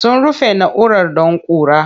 Sun rufe na'urar don ƙura.